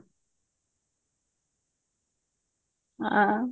ହଁ